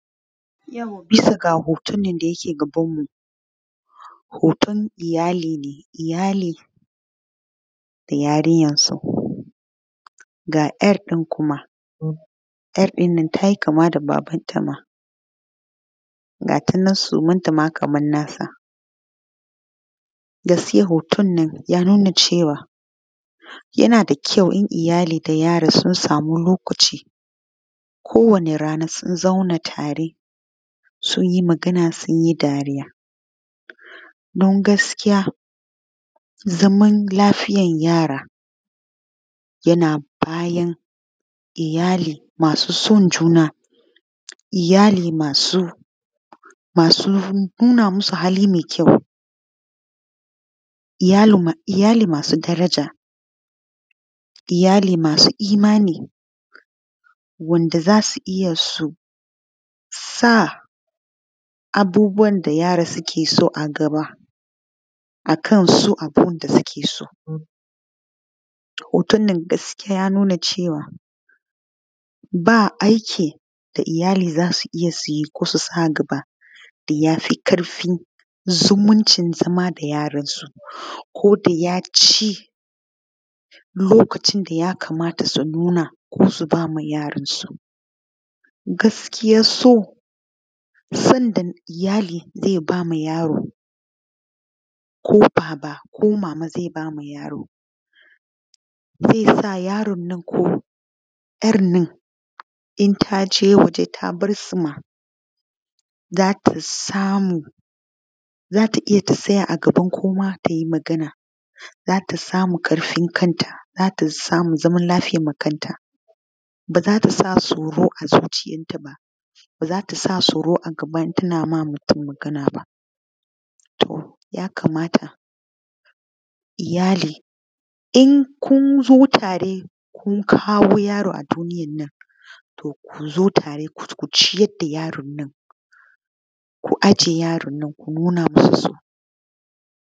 Yauwa bisa ga hoton da yake gabanmu hoton iyali ne, iyali da yarinyansu ga ɗan kuma yarɗin nan ta yi kama da babanta ma ga ta nan sumnatama kaman nasa gaskiya hoton nan ya nuna cewa yana da kyau iyali da yara sun sama lokaci kowane rana sun zauna tare sun yi magana don gaskiya zaman lafiyan yara yana bayan iyali masu san zuna iyali masu nuna musu hali mai kyau. Iyali masu daraja, iyali masu imani wanda za su iya su sa abubuwan da yara suke so a gaba akan su abun da suke so wannan gaskiya ya nuna cewa ba aiki da iyali zasuyi ko susa gaba da yafi ƙarfin zumuncin zama da yaransu koda yaci lokacin da yakamata su nuna suba ma yaransu cikakkiyansu sunnan zaiba ma yaro ko baba ko mama zaiba ma yaro zesa yaronnan ko ‘yarnan intage waje tabarsuma zata iya tatsaya a gaban kowa tayi magana zata samu karfin kanta ta samu zaman lafiyan makaranta bazatasa tsoro a zuciyantaba bazatasa tsoro a gabantaba intana maganaba to yakamata iyali in kunzo tare kun kawo yaro a duniyannan to kuzo tare kuciyar da yaronnan ku aje yaronnan ku nuna nusu so.